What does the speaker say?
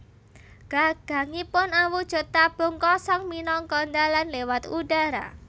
Gagangipun awujud tabung kosong minangka dalan lewat udara